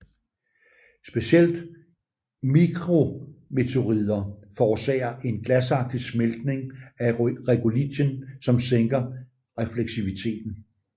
Specielt mikrometeoroider forårsager en glasagtig smeltning af regolithen som sænker refleksiviteten